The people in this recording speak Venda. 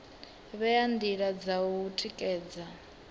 vhea ndila dza u tikedza